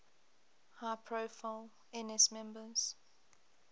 high profile ns members